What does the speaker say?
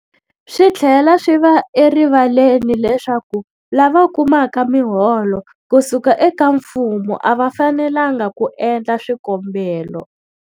Swi tlhela swi va erivaleni leswaku lava kumaka miholo ku suka eka mfumo a va fanelanga ku endla swikombelo.